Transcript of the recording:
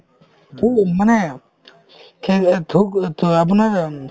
মানে খেৰয়ত থুক অ থু আপোনাৰ